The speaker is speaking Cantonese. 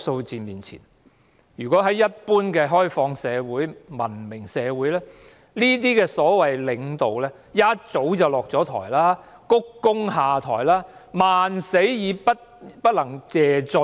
在文明開放的社會裏，面對這些數字的領導早已下台，鞠躬下台，萬死不能謝罪。